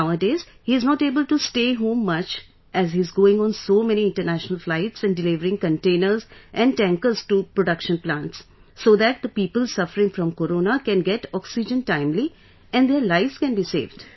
Now a days he is not able to stay home much as he is going on so many international flights and delivering containers and tankers to production plants so that the people suffering from corona can get oxygen timely and their lives can be saved